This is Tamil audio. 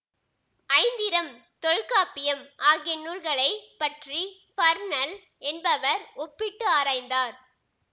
ஐந்திரம் தொல்காப்பியம் ஆகிய நூல்களை பற்றி பர்னல் என்பவர் ஒப்பிட்டு ஆராய்ந்தார்